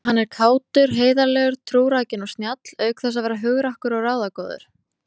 Hann er kátur, heiðarlegur, trúrækinn og snjall auk þess að vera hugrakkur og ráðagóður.